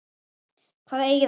Hvað eigið þið við?